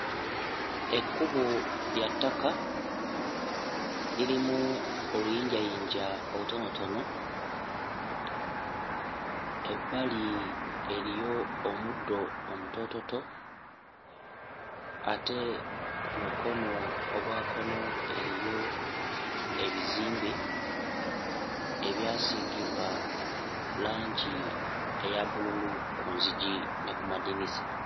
Ekkubo lya ttaka, lirimu oluyinjayinja olutonotono, ebbali eriyo omuddo omutoototo ate ku mukono ogwa kkono eriyo ebizimbe ebyasiigibwa langi eya bbululu ku nzigi ne ku madinisa.